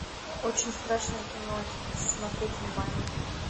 очень страшное кино один смотреть онлайн